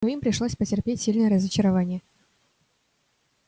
но им пришлось потерпеть сильное разочарование